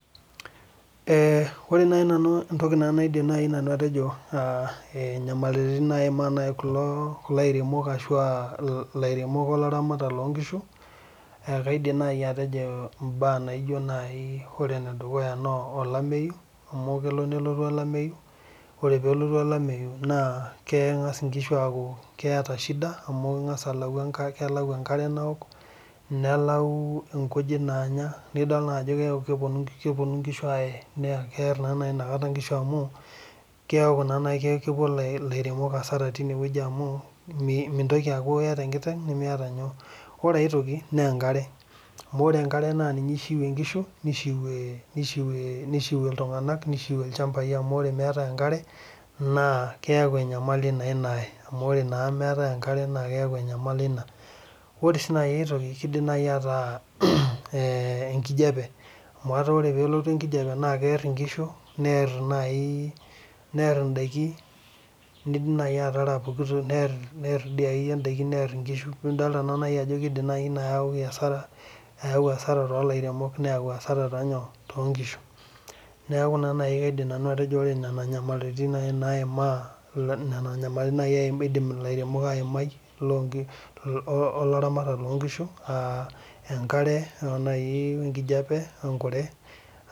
ore naaji nanu entoki nanu teneweji naa ilairemok ibaa naiza